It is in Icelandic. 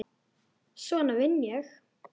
Svona vinn ég.